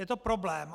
Je to problém.